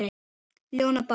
ljóna bága